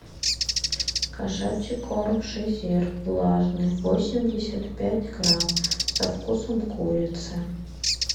кошачий корм шезир влажный восемьдесят пять грамм со вкусом курицы